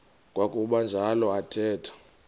kwakuba njalo athetha